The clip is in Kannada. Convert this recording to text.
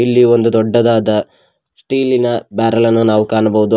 ಇಲ್ಲಿ ಒಂದು ದೊಡ್ಡದಾದ ಸ್ಟೀಲ್ ಇನ ಬ್ಯಾರೆಲ್ ಅನ್ನು ಕಾಣಬಹುದು.